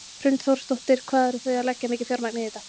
Hrund Þórsdóttir: Hvað eru þið að leggja mikið fjármagn í þetta?